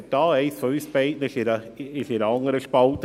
Einer oder eine von uns beiden hat die falsche Spalte gewählt.